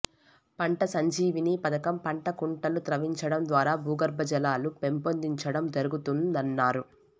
పంట సంజీవిని పధకం పంటకుంటలు త్రవ్వించడం ద్వారా బూగర్బజలాలు పెంపొందించడం జరుగుతుం దన్నారు